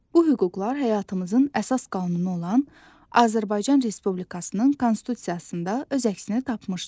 Bu hüquqlar həyatımızın əsas qanunu olan Azərbaycan Respublikasının Konstitusiyasında öz əksini tapmışdı.